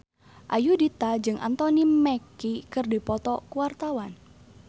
Ayudhita jeung Anthony Mackie keur dipoto ku wartawan